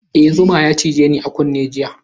E, zuma ya cije ni a kunne jiya.